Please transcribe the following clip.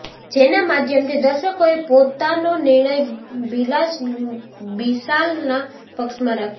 જેના માધ્યમથી દર્શકોએ પોતાનો નિર્ણય બીશાલના પક્ષમાં રાખ્યો